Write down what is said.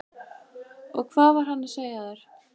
Og hvað var hann að segja þér?